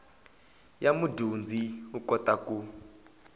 ya mudyondzi u kota ku